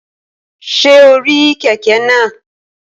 Ṣé o rí kẹ̀kẹ́ náà?